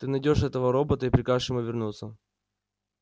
ты найдёшь этого робота и прикажешь ему вернуться